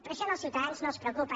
però això als ciutadans no els preocupa